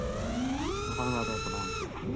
অসমীয়া সাহিত্য়ত বৰ্তমান আছে।